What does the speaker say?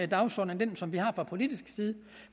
dagsorden end den som vi har fra politisk side